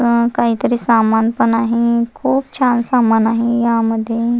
अ काहीतरी सामान पण आहे खुप छान सामान आहे यामध्ये --